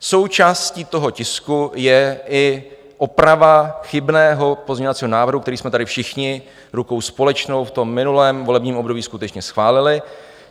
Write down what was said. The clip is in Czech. Součástí toho tisku je i oprava chybného pozměňovacího návrhu, který jsme tady všichni rukou společnou v tom minulém volebním období skutečně schválili.